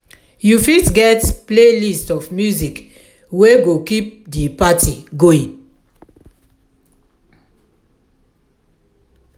you fitget playlist of music wey go keep di party going.